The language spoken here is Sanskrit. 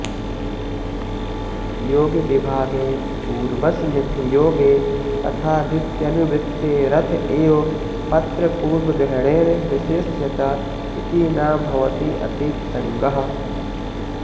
योगविभागे पूर्वस्मिन् योगे रथादित्यनुवृत्ते रथ एव पत्त्रपूर्वग्रहणेन विशेष्यत इति न भवत्यतिप्रसङ्गः